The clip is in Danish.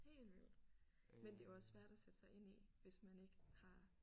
Helt vildt men det er jo også svært at sætte sig ind i hvis man ikke har